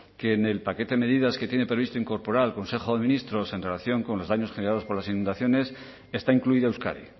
que en el paquete de medidas que tiene previsto incorporar al consejo de ministros en relación con los daños generados por las inundaciones está incluido euskadi